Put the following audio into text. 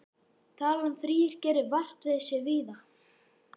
Talan þrír gerir vart við sig víða.